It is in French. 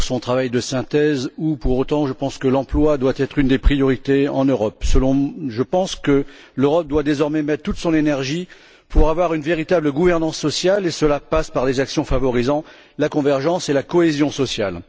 La Via pour son travail de synthèse où, pour autant, je pense que l'emploi doit être une des priorités en Europe. Je pense que l'Europe doit désormais utiliser toute l'énergie nécessaire pour se doter d'une véritable gouvernance sociale et cela passe par des actions favorisant la convergence et la cohésion sociale.